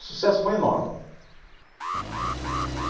O sucesso foi enorme.